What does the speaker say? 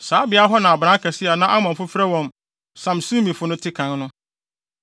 Saa beae hɔ na abran akɛse a na Amonfo frɛ wɔn Samsumifo no te kan no.